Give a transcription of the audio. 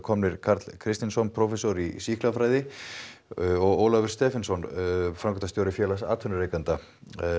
kominn Karl prófessor í sýklafræði og Ólafur Stephensen framkvæmdastjóri félags atvinnurekenda